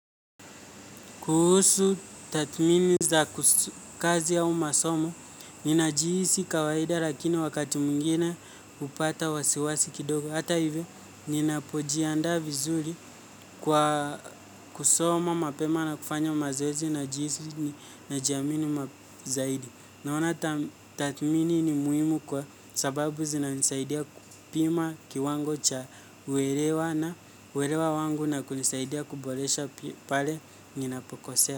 Kuhusu tathmini za kazi au masomo, ni najihisi kawaida lakini wakati mwingine hupata wasiwasi kidogo. Hata hivi, ninapojiandaa vizuri kwa kusoma mapema na kufanya mazezi na jinsi najiamini zaidi. Naona tathmini ni muhimu kwa sababu zina nisaidia kupima kiwango cha uelewa na uelewa wangu na kunisaidia kuboresha pale ninapokosea.